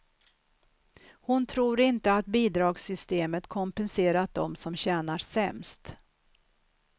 Hon tror inte att bidragssystemet kompenserat dem som tjänar sämst.